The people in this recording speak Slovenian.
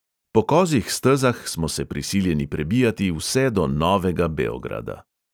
Po 'kozjih stezah' smo se prisiljeni prebijati vse do novega beograda.